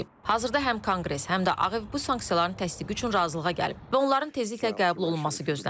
Hazırda həm Konqres, həm də Ağ Ev bu sanksiyaların təsdiqi üçün razılığa gəlib və onların tezliklə qəbul olunması gözlənilir.